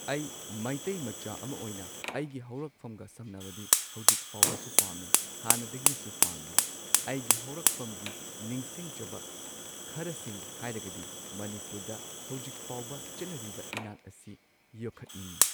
ꯑꯩ ꯃꯩꯇꯩ ꯃꯆꯥ ꯑꯃ ꯑꯣꯏꯅ ꯑꯩꯒꯤ ꯍꯧꯔꯛꯐꯝꯒ ꯁꯝꯅꯕꯗꯤ ꯍꯧꯖꯤꯛ ꯐꯥꯎꯕꯁꯨ ꯄꯥꯝꯃꯤ ꯍꯥꯟꯅꯗꯒꯤꯁꯨ ꯄꯥꯝꯂꯤ ꯑꯩꯒꯤ ꯍꯧꯔꯛꯐꯝꯒꯤ ꯅꯤꯡꯁꯤꯡꯖꯕ ꯈꯔꯁꯤꯡ ꯍꯥꯏꯔꯒꯗꯤ ꯃꯅꯤꯄꯨꯔꯗ ꯍꯧꯖꯤꯛ ꯐꯥꯎꯕ ꯆꯠꯅꯔꯤꯕ ꯏꯅꯥꯠ ꯑꯁꯤ ꯌꯣꯈꯠꯅꯤꯡꯉꯤ꯫